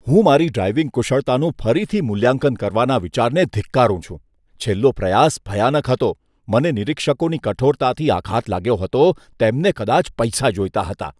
હું મારી ડ્રાઇવિંગ કુશળતાનું ફરીથી મૂલ્યાંકન કરવાના વિચારને ધિક્કારું છું. છેલ્લો પ્રયાસ ભયાનક હતો. મને નિરીક્ષકોની કઠોરતાથી આઘાત લાગ્યો હતો, તેમને કદાચ પૈસા જોઈતા હતા.